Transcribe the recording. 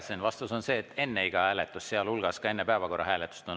Vastus on see, et õigus on võtta vaheaeg enne iga hääletust, sealhulgas ka enne päevakorra hääletust.